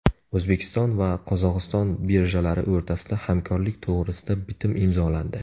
O‘zbekiston va Qozog‘iston birjalari o‘rtasida hamkorlik to‘g‘risida bitim imzolandi.